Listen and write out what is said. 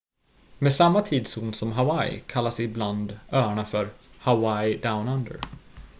"med samma tidszon som hawaii kallas ibland öarna för "hawaii down under"".